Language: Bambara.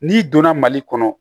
N'i donna mali kɔnɔ